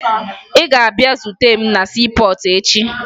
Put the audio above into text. Ị ga-abịa zute m na siipọọtụ echi!